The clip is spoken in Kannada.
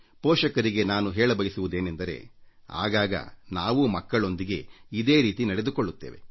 ಪೋಷಕರಿಗೆ ನಾನು ಹೇಳಬಯಸುವುದೇನೆಂದರೆ ಆಗಾಗ ನಾವೂ ಮಕ್ಕಳೊಂದಿಗೆ ಇದೇ ರೀತಿ ನಡೆದುಕೊಳ್ಳುತ್ತೇವೆ